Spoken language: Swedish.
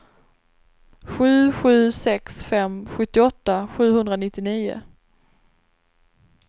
sju sju sex fem sjuttioåtta sjuhundranittionio